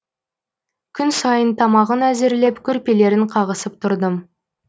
күн сайын тамағын әзірлеп көрпелерін қағысып тұрдым